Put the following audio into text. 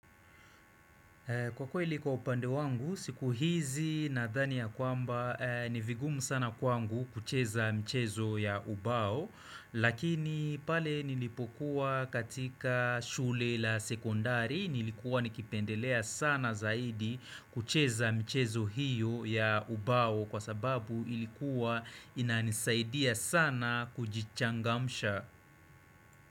Kwa kweli kwa upande wangu, siku hizi nadhani ya kwamba, ni vigumu sana kwangu kucheza michezo ya ubao, lakini pale nilipokuwa katika shule la sekondari, nilikuwa nikipendelea sana zaidi kucheza michezo hiyo ya ubao kwa sababu ilikuwa inanisaidia sana kujichangamsha.